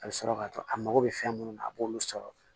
A bɛ sɔrɔ ka to a mago bɛ fɛn minnu na a b'olu sɔrɔ